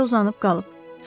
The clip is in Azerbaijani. Eləcə uzanıb qalıb.